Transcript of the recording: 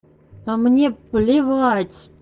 а мне плевать